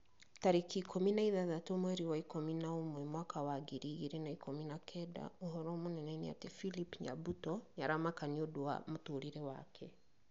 Tarĩki ikũmi na ithathaũ mweri wa ikũmi na ũmwe mwaka wa ngiri igĩrĩ na ikũmi na kenda ũhoro mũnene nĩ ati philip nyabuto nĩ aramaka nĩũndũ wa mũtũrĩre wake